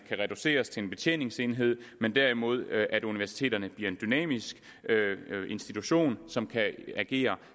reduceres til en betjeningsenhed men derimod at universiteterne bliver en dynamisk institution som kan agere